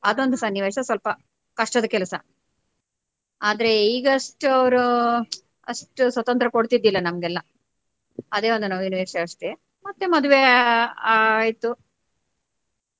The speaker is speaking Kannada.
ಅದೊಂದು ಸನ್ನಿವೇಶ ಸ್ವಲ್ಪ ಕಷ್ಟದ ಕೆಲಸ ಆದ್ರೆ ಈಗಷ್ಟು ಅವ್ರು ಅಷ್ಟು ಸ್ವತಂತ್ರ ಕೊಡ್ತಿದಿಲ್ಲ ನಮಗೆಲ್ಲ ಅದೆ ಒಂದು ನೋವಿನ ವಿಷಯ ಅಷ್ಟೆ ಮತ್ತೆ ಮದುವೆ ಆ~ ಆಯ್ತು.